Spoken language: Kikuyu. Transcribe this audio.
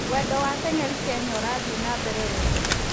Wendo wa atengeri Kenya ũrathii na mbere wega